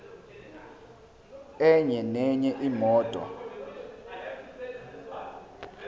enye nenye imoto